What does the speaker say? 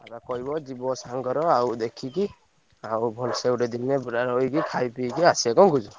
ତାକୁ କହିବ ଯିବ ସାଙ୍ଗର ଆଉ ଦେଖିକି ଆଉ ଭଲସେ ଗୋଟେ ଦିନେ ପୁରା ରହିକି ଖାଇ ପିଇକି ଆସିଆ କଣ କହୁଛ?